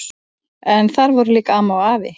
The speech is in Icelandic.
En þar voru líka amma og afi.